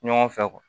Ɲɔgɔn fɛ